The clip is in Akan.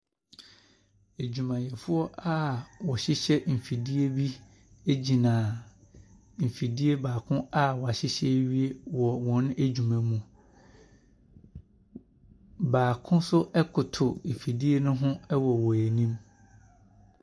Adwumayɛfoɔ a ɔhyehyɛ nfidie bi egyina ɛfidie baako a wahyehyɛ ɛwie wɔ wɔn adwuma mu . Baako nso ɛkoto ɛfidie no ho wɔ wɔn ɛnim.